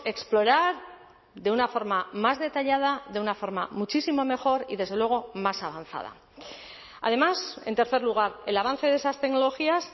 explorar de una forma más detallada de una forma muchísimo mejor y desde luego más avanzada además en tercer lugar el avance de esas tecnologías